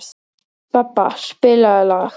Bebba, spilaðu lag.